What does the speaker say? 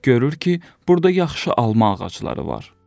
Görür ki, burda yaxşı alma ağacları var.